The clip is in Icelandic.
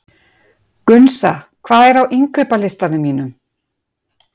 Gunnsa, hvað er á innkaupalistanum mínum?